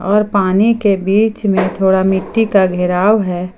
और पानी के बीच में थोड़ा मिट्टी का घेराव है।